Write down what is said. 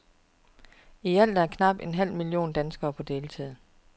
I alt er knap en halv million danskere på deltid.